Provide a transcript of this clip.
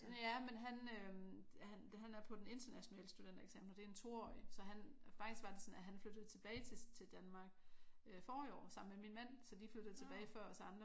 Ja men han han øh han er på den internationale studentereksamen og det er en 2-årig så han faktisk var det sådan at han flyttede tilbage til Danmark øh forrige år sammen med min mand så de flyttede hjem før os andre